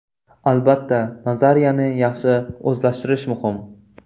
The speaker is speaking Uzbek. Albatta, nazariyani yaxshi o‘zlashtirish muhim.